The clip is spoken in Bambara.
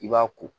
I b'a ko